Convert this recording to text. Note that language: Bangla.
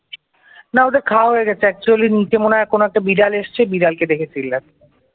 না ওদের খাওয়া হয়ে গেছে actually নিচে মনে হয় একটা বিড়াল এসেছে, বিড়াল কে দেখে চিল্লাচ্ছে।